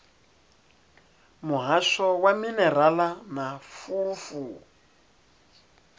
muhasho wa minerala na fulufulu